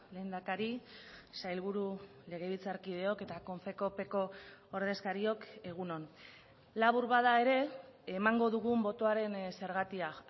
lehendakari sailburu legebiltzarkideok eta konfekoopeeko ordezkariok egun on labur bada ere emango dugun botoaren zergatia